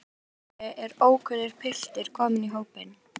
Allt í einu er ókunnur piltur kominn í hópinn.